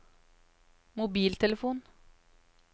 mobiltelefon